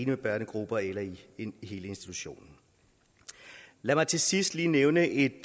med børnegrupper eller i hele institutionen lad mig til sidst lige nævne et